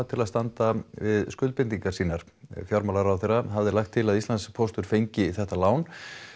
til að standa við skuldbindingar sínar fjármálaráðherra hafði lagt til að Íslandspóstur fengi þetta lán